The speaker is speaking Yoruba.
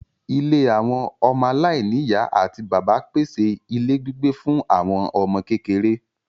Ilé àwọn ọmọ aláìní ìyá àti bàbá pèsè ilé gbígbé fún àwọn ọmọ kékeré